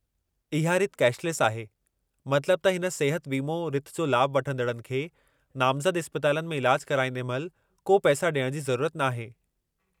इहा रिथ कैशलेस आहे, मतिलबु त हिन सिहत वीमो रिथ जो लाभु वठंदड़नि खे नामज़द इस्पतालनि में इलाज कराईंदे महिल को पैसा ॾियणु जी ज़रूरत नाहे।